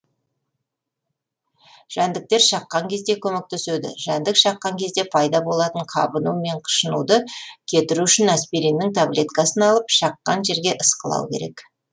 жәндіктер шаққан кезде көмектеседі жәндік шаққан кезде пайда болатын қабыну мен қышынуды кетіру үшін аспириннің таблеткасын алып шаққан жерге ысқылау керек